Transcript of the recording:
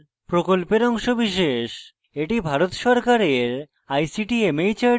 এটি ভারত সরকারের ict mhrd এর জাতীয় শিক্ষা mission দ্বারা সমর্থিত